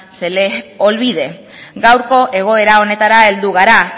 se les olvide gaurko egoera honetara heldu gara